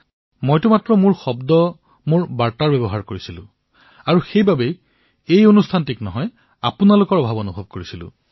মইতো কেৱল মোৰ শব্দ মোৰ বাণী ব্যৱহাৰ কৰিছিলো আৰু এইবাবে মই এই কাৰ্যসূচীক নহয় আপোনালোকৰ অনুপস্থিতি অনুভৱ কৰিছিলো